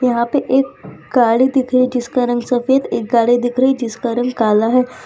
यहां पे एक गाड़ी दिख रही जिसका रंग सफेद एक गाड़ी दिख रही जिसका रंग काला है।